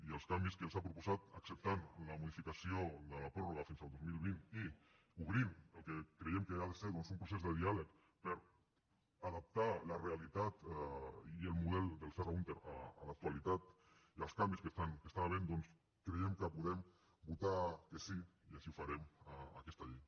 i els canvis que ens ha proposat i acceptant la modificació de la pròrroga fins al dos mil vint i obrint el que creiem que ha de ser un procés de diàleg per adaptar la realitat i el model del serra húnter a l’actualitat i els canvis que hi ha creiem que podem votar que sí i així ho farem a aquesta llei